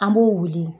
An b'o wuli